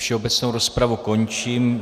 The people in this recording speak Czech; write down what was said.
Všeobecnou rozpravu končím.